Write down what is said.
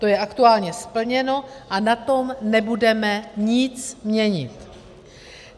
To je aktuálně splněno a na tom nebudeme nic měnit.